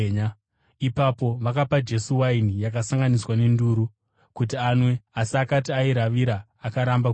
Ipapo vakapa Jesu waini yakasanganiswa nenduru, kuti anwe, asi akati airavira akaramba kuinwa.